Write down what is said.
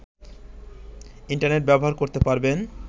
internet ব্যবহার করতে পারবেন